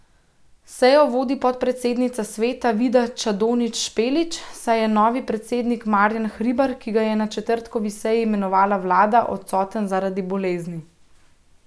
Sejo vodi podpredsednica sveta Vida Čadonič Špelič, saj je novi predsednik Marjan Hribar, ki ga je na četrtkovi seji imenovala vlada, odsoten zaradi bolezni.